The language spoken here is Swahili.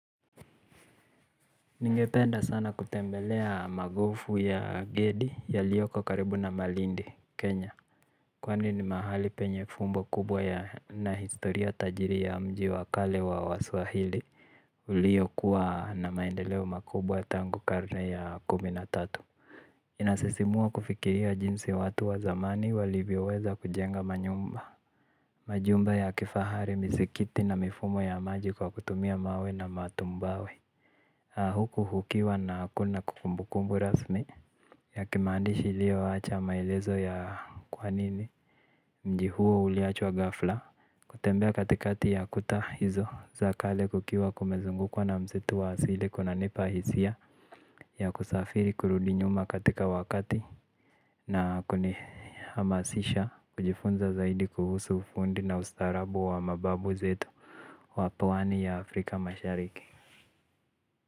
Ningependa sana kutembelea magofu ya Gedi yalioko karibu na Malindi, Kenya. Kwani ni mahali penye fumbo kubwa yana historia tajiri ya mji wa kale wa waswahili. Iliokuwa na maendeleo makubwa tangu karne ya kumi na tatu inasisimua kufikiria jinsi watu wa zamani walivyoweza kujenga manyumba. Majumba ya kifahari misikiti na mifumo ya maji kwa kutumia mawe na matumbawe. Huku ukiwa na kumbukumbu rasmi ya kimaandishi iliowacha maelezo ya ni kwa nini mji huo uliachwa ghafla. Kutembea katikati ya kuta hizo za kale kukiwa kumezungukwa na msitu wa asili kunanipa hisia ya kusafiri kurudi nyuma katika wakati na kunihamasisha kujifunza zaidi kuhusu ufundi na ustaarabu wa mababu zetu wa pwani ya Afrika mashariki.